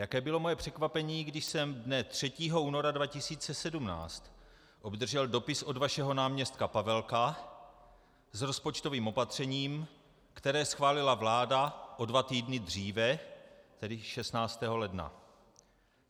Jaké bylo moje překvapení, když jsem dne 3. února 2017 obdržel dopis od vašeho náměstka Paveleka s rozpočtovým opatřením, které schválila vláda o dva týdny dříve, tedy 16. ledna.